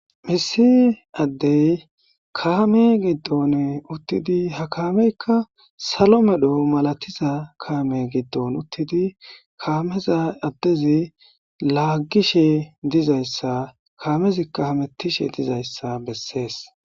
Issi addey kaame giddon uttidi ha kaameykka salo medhdho malatiza kaame giddon uttidi kaameza addezi laaggishe dizayssa kaamezika hametishe dizayssa bessees